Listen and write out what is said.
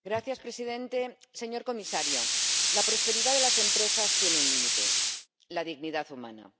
Señor presidente, señor comisario, la prosperidad de las empresas tiene un límite la dignidad humana.